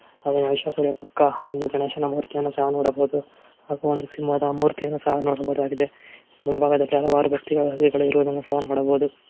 ಮಹಿಷಾಸುರ ಪಕ್ಕ ಒಂದು ಗಣೇಶನ ಮೂರ್ತಿಯನ್ನು ಸಹ ನೋಡಬಹುದು ಹಾಗು ಒಂದು ಸಿಂಹದ ಮೂರ್ತಿಯನ್ನು ಸಹ ನೋಡಬಹುದಾಗಿದೆ ಮುಂಭಾಗದಲ್ಲಿ ಹಲವಾರು ವ್ಯಕ್ತಿಗಳು ಇರುವುದನ್ನು ನೋಡಬಹುದು.